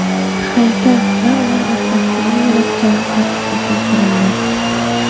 Haykal va uning atrofidagi yo‘lakchalar tartibga keltirildi.